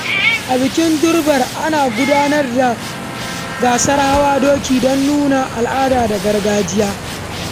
A bikin Durbar, ana gudanar da gasa ta hawan doki da nuni na gargajiya.